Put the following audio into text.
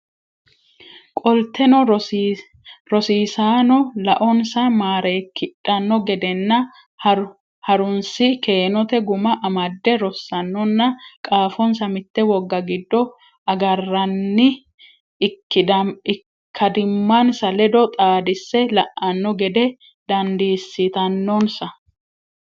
Qolteno rosiisaano laonsa maareekkidhanno gedenna ha runsi keenote guma amadde rosaanonna qaafonsa mitte wogga giddo agarranni ikkadimmansa ledo xaadisse la anno gede dandiissitannonsa.